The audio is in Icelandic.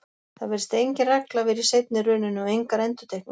Það virðist engin regla vera í seinni rununni og engar endurtekningar.